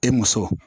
E muso